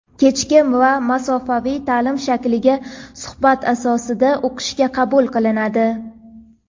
kechki va masofaviy taʼlim shakliga suhbat asosida o‘qishga qabul qilinadi.